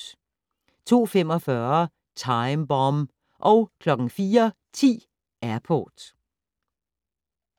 02:45: Time Bomb 04:10: Airport